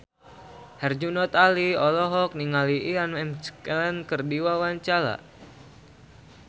Herjunot Ali olohok ningali Ian McKellen keur diwawancara